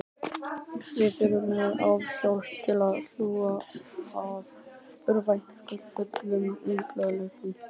Við erum með áfallahjálp til að hlúa að örvæntingarfullum unglingum.